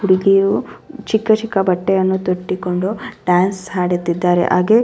ಹುಡುಗಿಯರು ಚಿಕ್ಕ ಚಿಕ್ಕ ಬಟ್ಟೆಯನ್ನು ತೊಟ್ಟಿಕೊಂಡು ಡಾನ್ಸ್ ಹಾಡುತ್ತಿದ್ದಾರೆ ಹಾಗೆ --